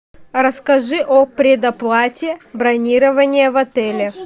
расскажи о предоплате бронирования в отеле